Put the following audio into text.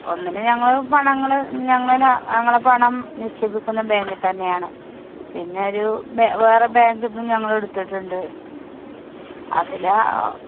ഒന്നില് ഞങ്ങള് പണങ്ങള് ഞങ്ങളെ പണം നിശ്ചേപിക്കുന്ന bank ൽത്തന്നെ യാണ്. പിന്നെ ഒരു ബെ വേറെ bank ന്ന്‌ ഞങ്ങളെടുത്തിട്ടുണ്ട്. അതില് ആഹ്